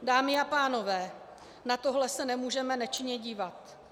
Dámy a pánové, na tohle se nemůžeme nečinně dívat.